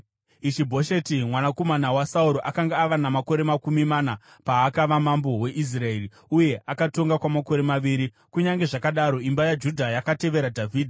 Ishi-Bhosheti mwanakomana waSauro akanga ava namakore makumi mana paakava mambo weIsraeri, uye akatonga kwamakore maviri. Kunyange zvakadaro, imba yaJudha yakatevera Dhavhidhi.